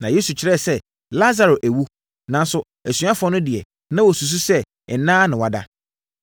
Na Yesu kyerɛ sɛ Lasaro awu, nanso asuafoɔ no deɛ, na wɔsusu sɛ nna ara na wada.